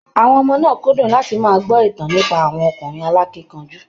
Àwọnn ọmọ náà kúndùn láti máa gbọ́ ìtàn nípa àwọn ọkùnrin alákínkanjú.